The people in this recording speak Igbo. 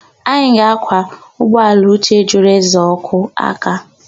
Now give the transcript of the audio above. Anyị ga-ákwà ụgbọala Uche jụrụ ịza oku aka.